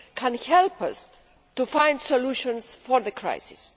can help us to find solutions for the crisis.